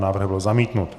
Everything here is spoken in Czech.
Návrh byl zamítnut.